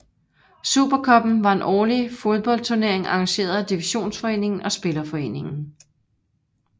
Super Cuppen var en årlig fodboldturnering arrangeret af Divisionsforeningen og Spillerforeningen